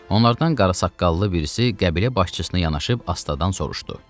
Onlardan qara saqqallı birisi qəbilə başçısına yanaşıb astadan soruşdu.